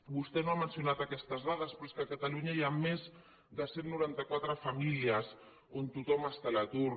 vostè no ha mencionat aquestes dades però a catalunya hi ha més de cent i noranta quatre mil famílies on tothom està a l’atur